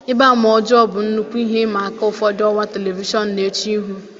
Mgbama ọjọọ bụ nnukwu ihe ịma aka ụfọdụ ọwa telivishọn na-eche ihu.